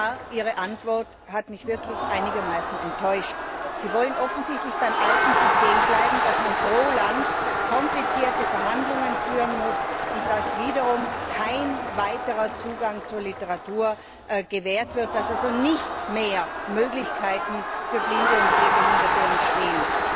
Herr Kommissar, Ihre Antwort hat mich wirklich einigermaßen enttäuscht. Sie wollen offensichtlich beim alten System bleiben, dass man pro Land komplizierte Verhandlungen führen muss und dass wiederum kein weiterer Zugang zur Literatur gewährt wird, dass also nicht mehr Möglichkeiten für Blinde und Sehbehinderte entstehen.